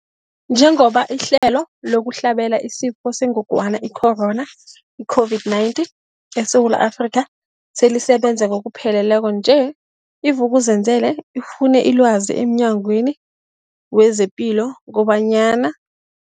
Njengoba ihlelo lokuhlabela isiFo sengogwana i-Corona, i-COVID-19, eSewula Afrika selisebenza ngokupheleleko nje, i-Vuk'uzenzele ifune ilwazi emNyangweni wezePilo kobanyana.